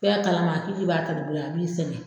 kalama k'i k'i b'a ta dugu la a b'i sɛgɛ.